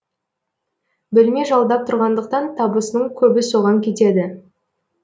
бөлме жалдап тұрғандықтан табысының көбі соған кетеді